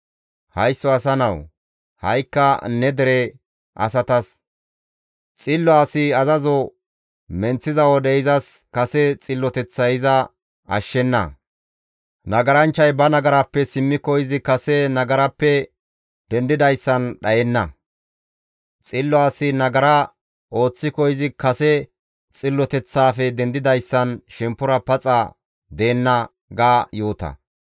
«Haysso asa nawu! Ha7ikka ne dere asatas, ‹Xillo asi azazo menththiza wode izas kase xilloteththay iza ashshenna; nagaranchchay ba nagarappe simmiko izi kase nagarappe dendidayssan dhayenna. Xillo asi nagara ooththiko izi kase xilloteththaafe dendidayssan shemppora paxa deenna› ga yoota.